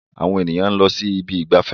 Àwọn èèyàn ló ń sí Ibi ìgbafẹ́.